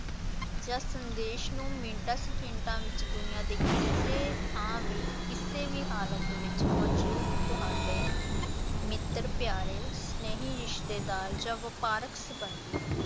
ਜਾਂ ਸੰਦੇਸ਼ ਨੂੰ ਮਿੰਟਾਂ ਸਕਿੰਟਾਂ ਵਿੱਚ ਦੁਨੀਆਂ ਦੇ ਕਿਸੇ ਥਾਂ ਵੀ ਕਿਸੇ ਵੀ ਹਾਲਤ ਵਿਚ ਮੌਜੂਦ ਤੁਹਾਡੇ ਮਿੱਤਰ-ਪਿਆਰੇ, ਸਨੇਹੀ-ਰਿਸ਼ਤੇਦਾਰ ਜਾਂ ਵਪਾਰਕ ਸੰਬੰਧੀ